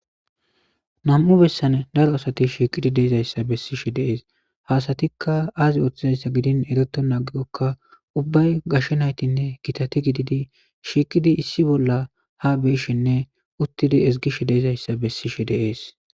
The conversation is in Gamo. Nam'u bessane daro asati shiiqidi deezayssa bessishe deees haasatikka aazi ooththizayssa gidin ereto naagigokka ubbay gashe naytinne kitati gididi shiiqidi issi bolla ha beeshinne uttidi ezgish deezayssa bessishe deees.